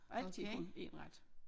Og altid kun én ret